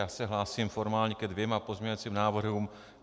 Já se hlásím formálně ke dvěma pozměňovacím návrhům.